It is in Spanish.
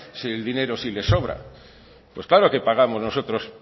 si el dinero si le sobra pues claro que pagamos nosotros